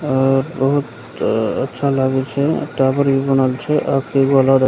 अ बहुत अच्छा लागे छे टावर बनल छे और --